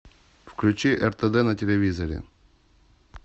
включи ртд на телевизоре